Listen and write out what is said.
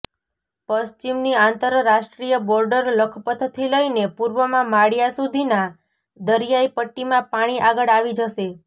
પશ્ચિમની આંતરરાષ્ટ્રીય બોર્ડર લખપતથી લઇને પૂર્વમાં માળીયા સુધીના દરિયાઇ પટ્ટીમાં પાણી આગળ આવી જશે